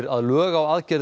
að lög á